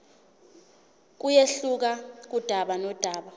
kuyehluka kudaba nodaba